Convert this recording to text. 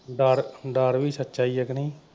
ਡਰ ਡਰ ਵੀ ਸੱਚਾ ਈ ਆ ਕੁ ਨਈਂ।